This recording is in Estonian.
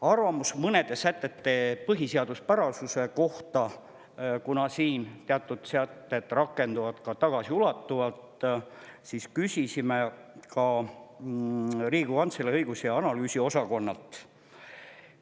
Arvamust mõnede sätete põhiseaduspärasuse kohta, kuna teatud sätted rakenduvad ka tagasiulatuvalt, küsisime Riigikogu Kantselei õigus- ja analüüsiosakonnalt.